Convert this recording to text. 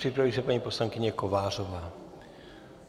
Připraví se paní poslankyně Kovářová.